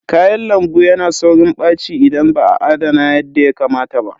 Kayan lambu yana saurin ɓaci idan ba a adana yadda ya kamata ba.